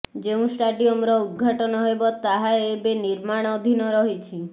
ଯେଉଁ ଷ୍ଟାଡିୟମର ଉଦଘାଟନ ହେବ ତାହା ଏବେ ନିର୍ମାଣଧୀନ ରହିଛି